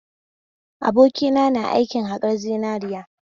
Abokina na aikin haƙar zinariya